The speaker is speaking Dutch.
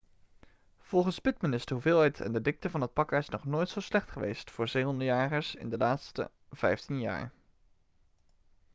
volgens pittman is de hoeveelheid en de dikte van het pakijs nog nooit zo slecht geweest voor zeehondenjagers in de laatste vijftien jaar